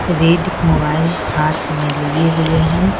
Red mobile हाथ में लिए हुए है ।